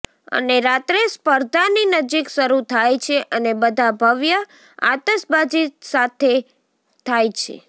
અને રાત્રે સ્પર્ધાની નજીક શરૂ થાય છે અને બધા ભવ્ય આતશબાજી સાથે થાય છે